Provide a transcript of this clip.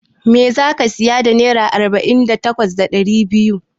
Me zaka siya da naira ɗari takwas da arba'in da biyar?